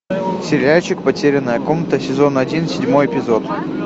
сериальчик потерянная комната сезон один седьмой эпизод